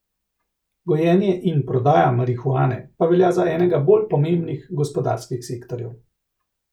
Gojenje in prodaja marihuane pa velja za enega bolj pomembnih gospodarskih sektorjev.